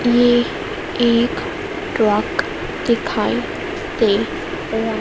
ये एक ट्रक दिखाई दे र--